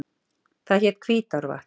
Það hét Hvítárvatn.